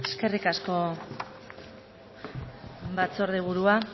eskerrik asko batzorde burua